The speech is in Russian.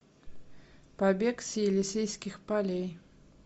побег с елисейских полей